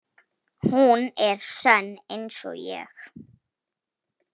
Hún er sönn einsog ég.